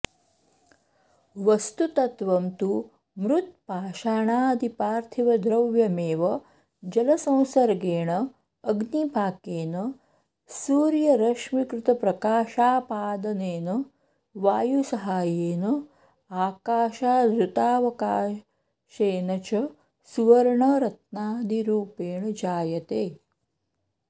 वस्तुतत्त्वं तु मृत्पाषाणादिपार्थिवद्रव्यमेव जलसंसर्गेण अग्निपाकेन सूर्यरश्मिकृतप्रकाशापादनेन वायुसहायेन आकाशादृतावकाशेन च सुवर्णरत्नादिरूपेण जायते